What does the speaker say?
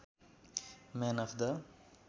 man of the